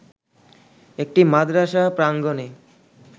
একটি মাদ্রাসা প্রাঙ্গনে